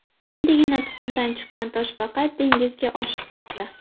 Endigina tuxumdan chiqqan toshbaqa dengizga oshiqmoqda.